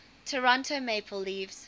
toronto maple leafs